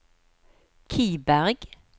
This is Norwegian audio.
Kiberg